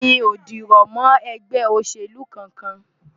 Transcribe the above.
Mi ò dìrọ̀ mọ́ ẹgbẹ́ òṣèlú kankan.